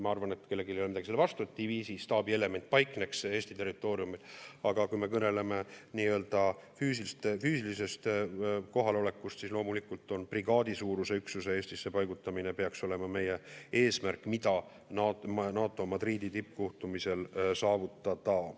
Ma arvan, et kellelgi ei ole midagi selle vastu, et diviisi staabielement paikneks Eesti territooriumil, aga kui me kõneleme nii-öelda füüsilisest kohalolekust, siis loomulikult peaks brigaadisuuruse üksuse Eestisse paigutamine olema meie eesmärk, mida NATO Madridi tippkohtumisel saavutada.